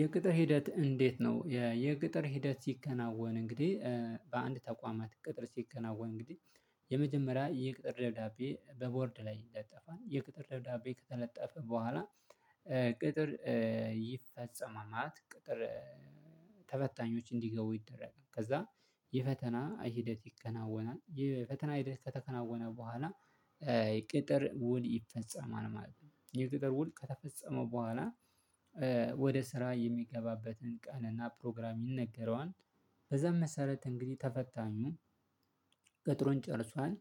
የቅጥር ሂደት እንዴት ነው? የቅጥር ሂደት ሲከናወን እንግዲህ በአንድ ተቋማት ቅጥር ሲከናወን እንግዲህ የመጀመሪያ የቅጥር ደብዳቤ በቦርድ ላይ ይለጠፋል የቅጥር ደብዳቤ ከተለጠፈ በኋላ ቅጥር ይፈጸማል። ማለት ቅጥር ተፈታኞች እንዲገቡ ይደረጋል። ከዛ የፈተና ሂደት ይከናወናል። የፈተና ሂደት ከተከናወነ በኋላ የቅጥር ውል ይፈጸማል ማለት ነው። የቅጥር ውል ከተፈጸመ በኋላ ወደ ስራ የሚገባበትን ቀንና ፕሮግራም ይነገረዋል። በዛም መሰረት እንግዲህ ተፈታኙ ቅጥሩን ጨርሷል።